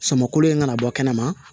Samako in kana bɔ kɛnɛma